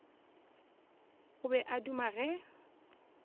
o be a duma ge